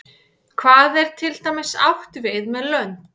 hvað er til dæmis átt við með lönd